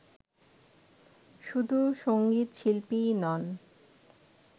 শুধু সঙ্গীত শিল্পীই নন